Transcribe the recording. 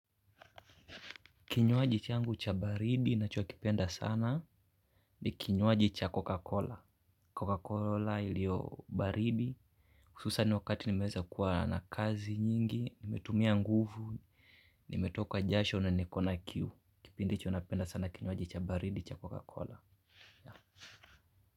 Kinywaji changu cha baridi nachokipenda sana ni kinywaji cha coca-Cola. Coca-Cola ilio baridi. Hususan wakati nimeeza kuwa na kazi nyingi, nimetumia nguvu, nimetoka jasho na niko na kiu. Kipind hicho napenda sana kinywaji cha baridi cha Coca-Cola.